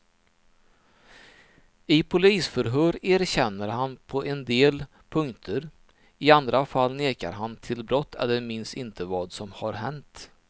I polisförhör erkänner han på en del punkter, i andra fall nekar han till brott eller minns inte vad som har hänt.